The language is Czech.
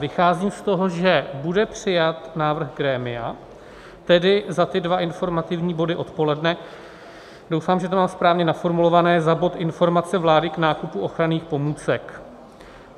Vycházím z toho, že bude přijat návrh grémia, tedy za ty dva informativní body odpoledne, doufám, že to mám správně naformulované, za bod Informace vlády k nákupu ochranných pomůcek.